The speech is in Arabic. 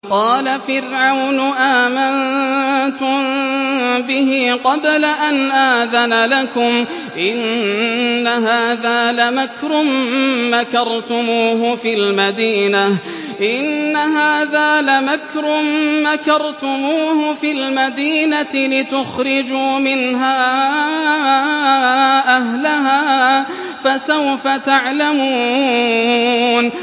قَالَ فِرْعَوْنُ آمَنتُم بِهِ قَبْلَ أَنْ آذَنَ لَكُمْ ۖ إِنَّ هَٰذَا لَمَكْرٌ مَّكَرْتُمُوهُ فِي الْمَدِينَةِ لِتُخْرِجُوا مِنْهَا أَهْلَهَا ۖ فَسَوْفَ تَعْلَمُونَ